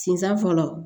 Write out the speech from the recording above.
Sinsɛ fɔlɔ